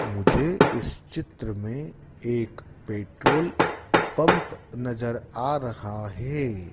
मुझे इस चित्र में एक पेट्रोल पंप नजर आ रहा है।